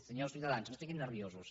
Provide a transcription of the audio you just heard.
senyors de ciutadans no es posin nerviosos